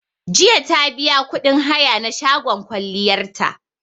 Jiya ta biya kuɗin haya na shagon kwalliyar ta